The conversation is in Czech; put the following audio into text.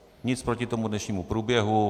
Nic proti tomu dnešnímu průběhu.